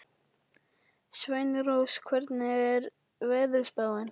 Sveinrós, hvernig er veðurspáin?